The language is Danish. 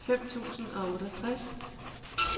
fem tusind og otteogtres